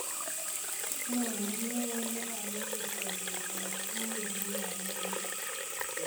nyonee neo nebo emet korutoichech wikit nanyonee